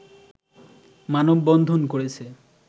মানববন্ধন করেছে